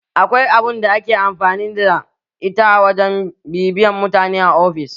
Akwai abun da ake amfani da ita a wajen bibiyan mutane a ofis